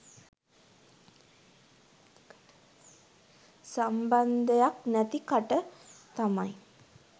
සම්බන්දයක් නැති කට තමයි